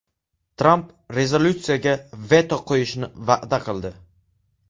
Tramp rezolyutsiyaga veto qo‘yishni va’da qildi.